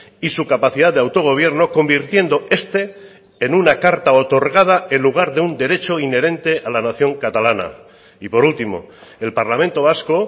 y su capacidad de autogobierno convirtiendo este en una carta otorgada en lugar de un derecho inherente a la nación catalana y por último el parlamento vasco